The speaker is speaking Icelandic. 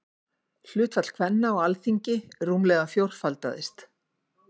Hlutfall kvenna á Alþingi rúmlega fjórfaldaðist.